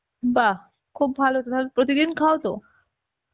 বাহ, খুব ভালো তো তাহলে, প্রতিদিন খাও তো?